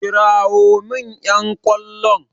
Kirawo min ƴan ƙwallon!